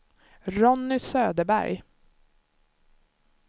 Ronny Söderberg